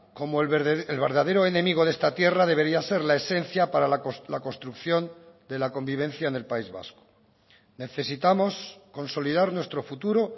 como el verdadero enemigo de esta tierra debería ser la esencia para la construcción de la convivencia en el país vasco necesitamos consolidar nuestro futuro